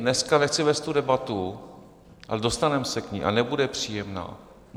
Dneska nechci vést tu debatu, ale dostaneme se k ní a nebude příjemná.